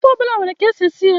Ofe ọ bụla nwere ka e si esi ya.